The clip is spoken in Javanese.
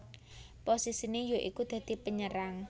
Posisine ya iku dadi penyerang